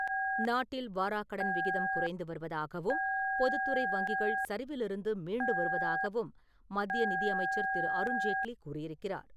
நாட்டில் வாராக்கடன் விகிதம் குறைந்து வருவதாகவும், பொதுத்துறை வங்கிகள் சரிவிலிருந்து மீண்டு வருவதாகவும் மத்திய நிதியமைச்சர் திரு. அருண் ஜேட்லி கூறியிருக்கிறார்.